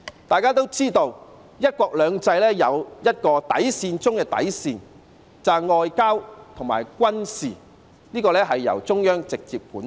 大家也知道"一國兩制"有一個底線中的底線，便是外交和軍事由中央直接管轄。